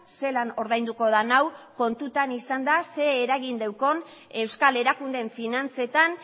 zelan ordainduko den hau kontutan izanda ze eragin daukan euskal erakundeen finantzetan